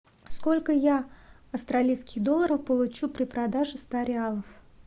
сколько я австралийских долларов получу при продаже ста реалов